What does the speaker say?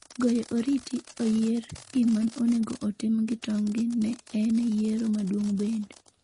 Goyo oriti .Oyier gima onego otim gi tonggi ne en yiero maduong’ bende.